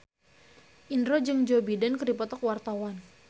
Indro jeung Joe Biden keur dipoto ku wartawan